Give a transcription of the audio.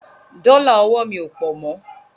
Dọ́là ọwọ́ mi ò pọ̀ mo.